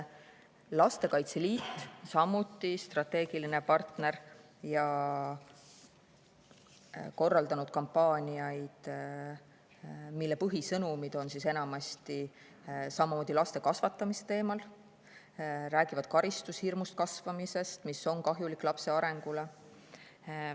Lastekaitse Liit on samuti meie strateegiline partner ja korraldanud kampaaniaid, mille põhisõnumid on enamasti samamoodi laste kasvatamise teemal, need räägivad näiteks karistushirmus kasvamisest, mis on kahjulik lapse arengule.